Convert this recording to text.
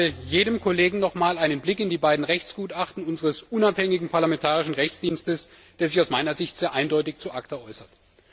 Und ich rate jedem Kollegen zu einem nochmaligen Blick in die beiden Rechtsgutachten unseres unabhängigen parlamentarischen Juristischen Dienstes, der sich aus meiner Sicht sehr eindeutig zu ACTA äußert.